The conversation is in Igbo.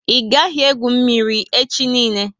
I gaghi egwu mmírí echi niile!